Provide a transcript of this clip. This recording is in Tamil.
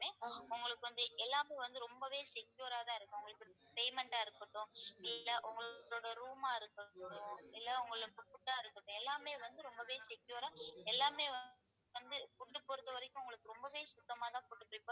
உங்களுக்கு வந்து எல்லாமும் வந்து ரொம்பவே secure ஆ தான் இருக்கும் உங்களுக்கு payment ஆ இருக்கட்டும் இல்லை உங்களோட room ஆ இருக்கட்டும் இல்லை உங்களுக்கு food ஆ இருக்கட்டும் எல்லாமே வந்து ரொம்பவே secure ஆ எல்லாமே வந்து food பொறுத்தவரைக்கும் உங்களுக்கு ரொம்பவே சுத்தமாதான்